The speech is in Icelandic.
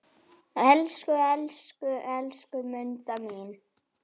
Elsku, elsku, elsku Munda mín.